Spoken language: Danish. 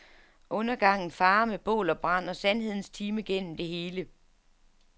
Undergangen farer med bål og brand og sandhedens time gennem det hele.